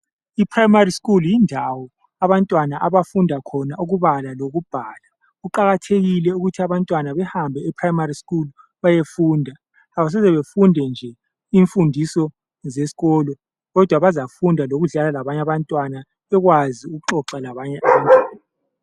i primary school yindawo abantwana abafunda khona ukubala lokubhala kuqakathekile ukuthi abantwana behambe eprimary school beyefunda abasoze befunde nje imfundiso zesikolo kodwa bazafunda lokudlala labanye abantwana bekwazi ukuxoxa labanye abantwana